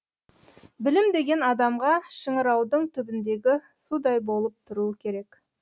білім деген адамға шыңыраудың түбіндегі судай болып тұруы керек